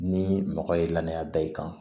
Ni mɔgɔ ye lanaya da i kan